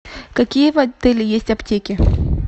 какие в отеле есть аптеки